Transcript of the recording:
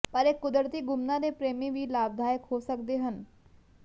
ਪਰ ਇੱਕ ਕੁਦਰਤੀ ਗੁਮਨਾ ਦੇ ਪ੍ਰੇਮੀ ਵੀ ਲਾਭਦਾਇਕ ਹੋ ਸਕਦੇ ਹਨ